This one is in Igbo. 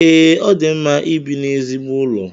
Ee, o di mma ibi n’ezigbo ụlọ